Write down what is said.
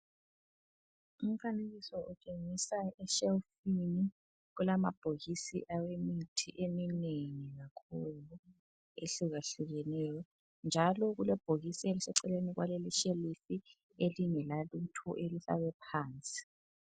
Umfanekiso utshengisa eshelifini kulamabhokisi awemithi eminengi kakhulu ehlukahlukeneyo njalo kulebhokisi eliseceleni kwaleli ishelifi elingelalutho elifakwe phansi.